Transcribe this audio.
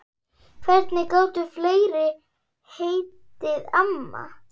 Hvernig gátu fleiri heitið amma?